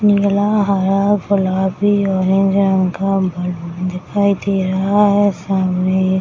नीला हरा गुलाबी ऑरेंज रंग का दिखाई दे रहा है सामने एक --